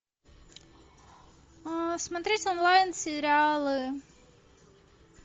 смотреть онлайн сериалы